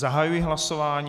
Zahajuji hlasování.